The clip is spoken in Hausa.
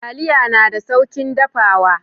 Taliya na da saukin dafawa.